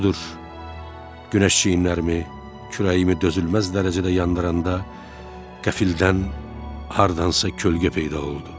Budur, Günəş çiyinlərimi, kürəyimi dözülməz dərəcədə yandıranda qəfildən hardansa kölgə peyda oldu.